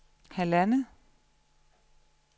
halvandet